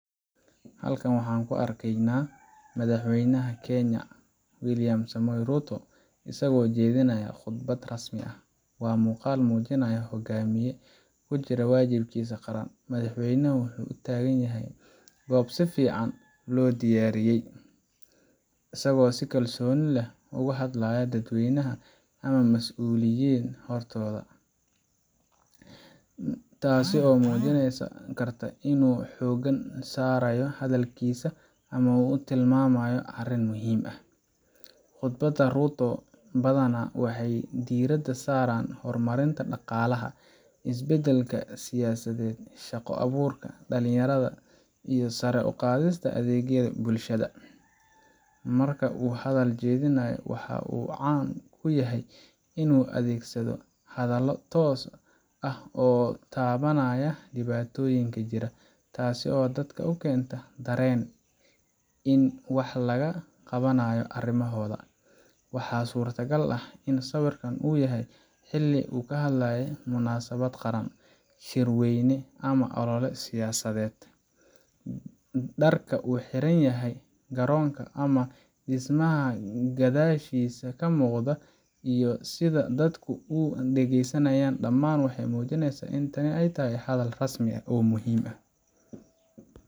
Halkan waxaan ku arkaynaa Madaxweynaha Kenya, William Samoei Ruto, isagoo jeedinaya khudbad rasmi ah. Waa muuqaal muujinaya hoggaamiye ku jira waajibaadkiisa qaran. Madaxweynaha waxa uu taagan yahay goob si fiican loo diyaariyey, isagoo si kalsooni leh ugu hadlaya dadweyne ama mas’uuliyiin hortooda., taasoo muujin karta in uu xoogga saarayo hadalkiisa ama uu tilmaamayo arrin muhiim ah. Khudbadaha Ruto badanaa waxay diiradda saaraan horumarinta dhaqaalaha, isbeddelka siyaasadeed, shaqo abuurka dhalinyarada, iyo sare u qaadista adeegyada bulshada. Marka uu hadal jeedinayo, waxa uu caan ku yahay inuu adeegsado hadallo toos ah oo taabanaya dhibaatooyinka jira, taasoo dadka u keenta dareen in wax laga qabanayo arrimahooda. Waxaa suurtagal ah in sawirkan uu yahay xilli uu ka hadlayo munaasabad qaran, shirweyne, ama olole siyaasadeed. Dharka uu xiran yahay, garoonka ama dhismaha gadaashiisa ka muuqda, iyo sida dadku u dhegeysanayaan, dhammaan waxay muujinayaan in tani tahay hadal rasmi ah oo muhiim ah.